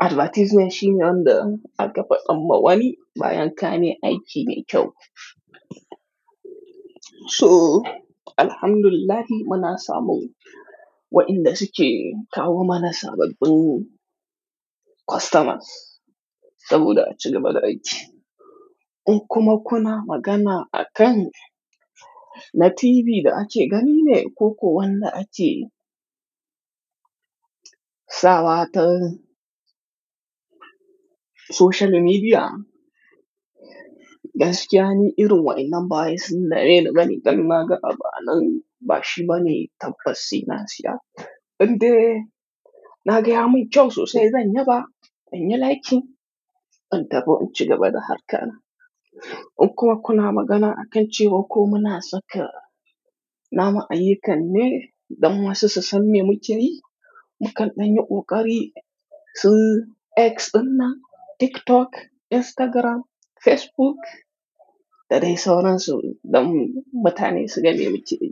advertisement shi ne wanda aka fi damba wani bayan ka ne aiki ne kyau. So, alhamdulillah muna samu waɗanda suke kawo mana sababbin customers saboda ace gaba da aiki. In kuma kuna magana akan na TV da ake gani ne ko kuwa wanda ace saba ta social media, gaskiya ne irin waɗannan bayi sun daina gani galma gaɓa nan bashi bane tabbasina siya. Inde na gaya mun kyau sosai zanyi ba, in yi like in taba in ci gaba da harkar nan. In kuma kuna magana akan cewa ko muna saka nama a yikan ne don wasu su san mu jiri, mu kalla nyi ƙoƙari su X ɗinnan, TikTok, Instagram, Facebook da dai sauransu don mutane su gani mu ciɗi.